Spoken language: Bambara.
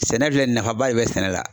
Sɛnɛ filɛ nafaba de bɛ sɛnɛ la